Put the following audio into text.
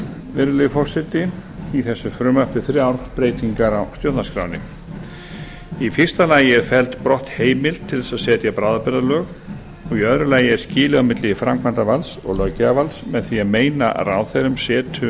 virðulegi forseti í þessu frumvarpi þrjár breytingar á stjórnarskránni í fyrsta lagi er felld brott heimild til þess að setja bráðabirgðalög og í öðru lagi er skilið á milli framkvæmdarvalds og löggjafarvalds með því að meina ráðherrum setu